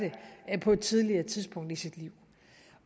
på et tidligere tidspunkt i sit liv